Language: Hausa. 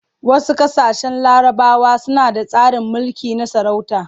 Wasu ƙasashen larabawa suna da tsarin mulki na sarauta.